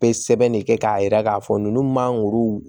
Bɛ sɛbɛn de kɛ k'a yira k'a fɔ ninnu man guru